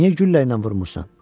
Niyə güllə ilə vurmursan?